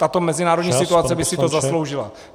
tato mezinárodní situace by si to zasloužila.